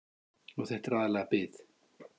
Og þetta er aðallega bið.